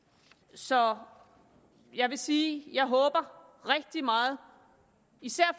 så jeg vil sige at jeg håber rigtig meget især